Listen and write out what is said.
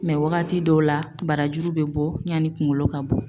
Mɛ wagati dɔw la , barajuru bɛ bɔ yani kunkolo ka bɔ.